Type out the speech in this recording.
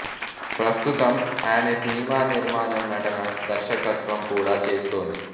ప్రస్తుతం ఆమె సినిమా నిర్మాణం నటన దర్శకత్వం కూడా చేస్తోంది